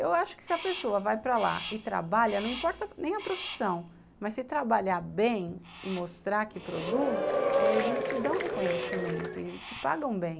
Eu acho que se a pessoa vai para lá e trabalha, não importa nem a profissão, mas se trabalhar bem e mostrar que produz, eles te dão reconhecimento e te pagam bem.